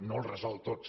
no els resol tots